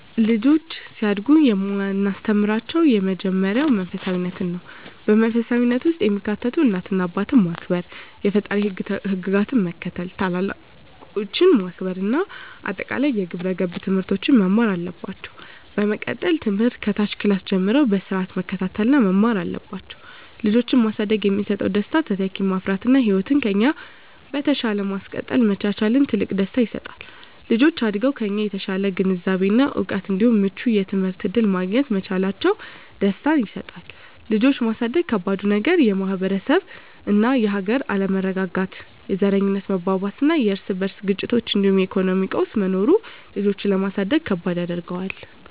ልጆች ሲያድጉ የማስተምራቸው የመጀመሪያው መንፈሳፊነትን ነው። በመንፈሳዊነት ውስጥ የሚካተቱት እናት አባትን ማክበር፣ የፈጣሪን ህግጋት መከተል፣ ታላላቆችን ማክበር እና አጠቃላይ የግብረ ገብ ትምህርቶችን መማር አለባቸው። በመቀጠልም ትምህርት ከታች ክላስ ጀምረው በስርአት መከታተል እና መማር አለባቸው። ልጆችን ማሳደግ የሚሰጠው ደስታ:- - ተተኪን ማፍራት እና ህይወትን ከኛ በተሻለ ማስቀጠል መቻላችን ትልቅ ደስታ ይሰጣል። - ልጆች አድገው ከኛ የተሻለ ግንዛቤ እና እውቀት እንዲሁም ምቹ የትምህርት እድል ማግኘት መቻላቸው ደስታን ይሰጠናል። ልጆችን ማሳደግ ከባዱ ነገር:- - የማህበረሰብ እና የሀገር አለመረጋጋት፣ የዘረኝነት መባባስና የርስ በርስ ግጭቶች እንዲሁም የኢኮኖሚ ቀውስ መኖሩ ልጆችን ለማሳደግ ከባድ ያደርገዋል።